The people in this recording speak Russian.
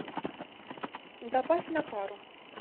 добавь на пару